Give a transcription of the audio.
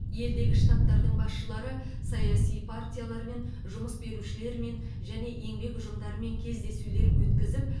елдегі штабтардың басшылары саяси партиялармен жұмыс берушілермен және еңбек ұжымдарымен кездесулер өткізіп